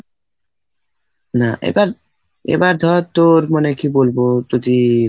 না এবার এবার ধর তোর মানে কি বলবো যদি